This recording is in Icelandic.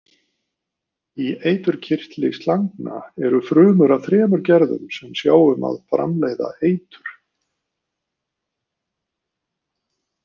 Í eiturkirtli slangna eru frumur af þremur gerðum sem sjá um að framleiða eitur.